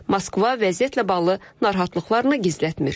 Moskva vəziyyətlə bağlı narahatlıqlarını gizlətmir.